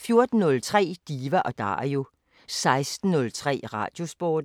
14:03: Diva & Dario 16:03: Radiosporten (lør-søn)